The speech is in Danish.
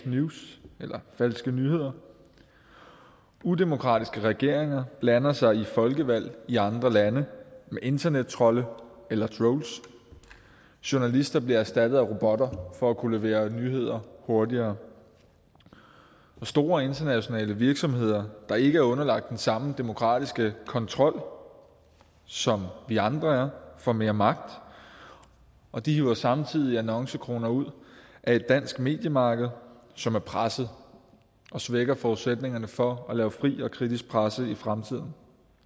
news eller falske nyheder udemokratiske regeringer blander sig i folkevalg i andre lande med internettrolde eller trolls journalister bliver erstattet af robotter for at kunne levere nyheder hurtigere store internationale virksomheder der ikke er underlagt den samme demokratiske kontrol som vi andre er får mere magt og de hiver samtidig annoncekroner ud af et dansk mediemarked som er presset og svækker forudsætningerne for at lave fri og kritisk presse i fremtiden